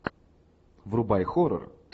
врубай хоррор